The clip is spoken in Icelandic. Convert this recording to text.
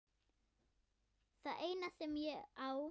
Það eina sem ég á.